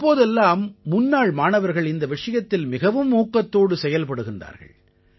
இப்போதெல்லாம் முன்னாள் மாணவர்கள் இந்த விஷயத்தில் மிகவும் ஊக்கத்தோடு செயல்படுகின்றார்கள்